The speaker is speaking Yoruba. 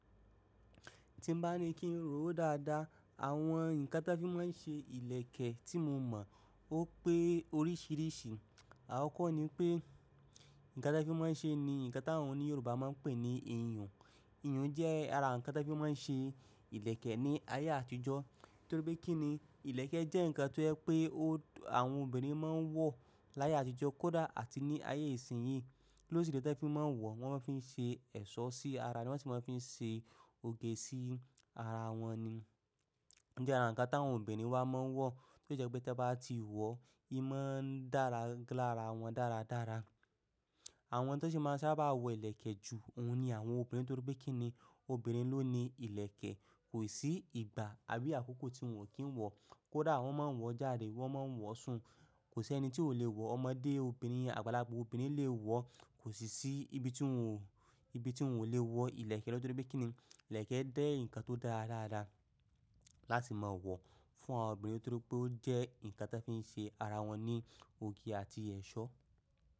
Ti 'bá ní kí n rò ó dáadáa, àwọn nǹkan tí a fi máa ń ṣe ìlẹ̀kẹ̀ tí mo mọ̀ ó pé oríṣìíríṣìí. Àkọ́kọ́ ni pé, nǹkan tí a fi máa ń ṣe ni nǹkan táwọn oní Yorùbá máa ń pè ní iyùn. Iyùn jẹ́ ara nǹkan tí a fi máa ń ṣe ìlẹ̀kẹ̀ ní ayé àtijọ́. Nítorí pé kí ni? Ìlẹ̀kẹ̀ jẹ́ nǹkan tó jẹ́ pé àwọn obìnrin máa ń wọ̀ láyé àtijọ́ kódà àti ní ayé ìsìnyí. Kí ló si dẹ́ tí wọ́n fi máa ń wọ̀? Wọ́n máa ń fi ṣe ẹ̀ṣọ́ sí ara, wọ́n sì máa ń fi ṣe òge sí ara wọn ni. Ó jẹ́ ara nǹkan táwọn obìnrin wa máa ń wọ̀ tí si jẹ́ pé tí ẹ bá ti wọ̀, ima ń dára lára wọn dáradára. Àwọn tó sì máa ń sábà wọ ìlẹ̀kẹ̀ ju ohun ni àwọn obìnrin nítorí pé kí ni? Obìnrin ló ni ìlẹ̀kẹ̀. Kò sí ìgbà àbí àkókò tí wọ́n ò kí ń wọ̀. Kódà wọn maa n wọ jáde wọn maa n wọ sun. Kò sí ẹni tí ò le wọ̀. Ọmọdé obìnrin, àgbàlagbà obìnrin lè wọ̀. Kò sì sí ibi tí wọ́n ò lè wọ ìlẹ̀kẹ̀ lọ. Nítorí pé kí ni? Ìlẹ̀kẹ̀ jẹ́ nǹkan tó dára dáadáa láti máa wọ̀ fún àwọn obìnrin torí pé ó jẹ́ nǹkan tí a fi ń ṣe ara wọn ní òge àti ẹ̀ṣọ́.